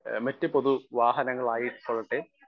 speaker 1 മറ്റ് പൊതുവാഹനങ്ങളായിക്കൊള്ളട്ടെ